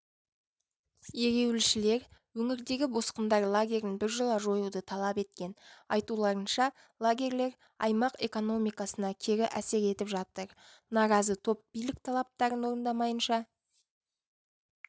ереуілшілер өңірдегі босқындар лагерін біржола жоюды талап еткен айтуларынша лагерлер аймақ экономикасына кері әсер етіп жатыр наразы топ билік талаптарын орындамайынша